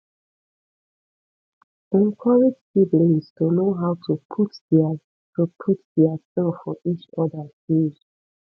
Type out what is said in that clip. encourage siblings to know how to put their to put their self for each oda shoes